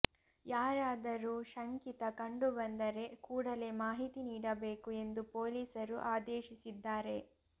ಯಾರಾದರೂ ಶಂಕಿತ ಕಂಡುಬಂದರೆ ಕೂಡಲೆ ಮಾಹಿತಿ ನೀಡಬೇಕು ಎಂದು ಪೊಲೀಸರು ಆದೇಶಿಸಿದ್ದಾರೆ